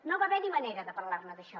no va haverhi manera de parlarne d’això